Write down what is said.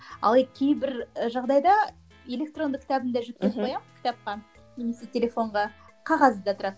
ал кейбір жағдайда электронды кітабын да жүктеп қоямын кітапқа немесе телефонға қағазы да тұрады